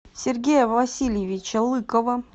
сергея васильевича лыкова